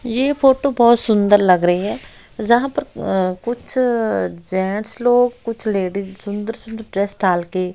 ये फोटो बहोत सुंदर लग रही है जहां पर अ कुछ जेंस लोग कुछ लेडिस सुंदर सुंदर ड्रेस डाल के--